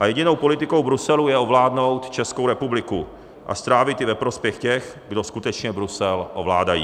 A jedinou politikou Bruselu je ovládnout Českou republiku a strávit ji ve prospěch těch, kdo skutečně Brusel ovládají.